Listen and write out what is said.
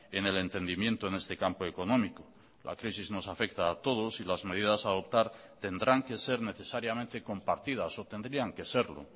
en el entendimiento en este campo económico la crisis nos afecta a todos y las medidas a adoptar tendrán que ser necesariamente compartidas o tendrían que serlo